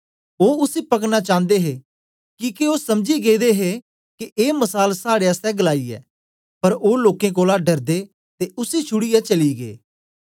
ओ उसी पकड़ना चान्दे हे किके ओ समझी गेदे हे के ए मसाल साड़े आस्ते गलाई ऐ पर ओ लोकें कोलां डरदे ते उसी छुड़ीयै चली गै